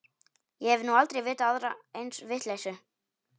Ég hef nú aldrei vitað aðra eins vitleysu.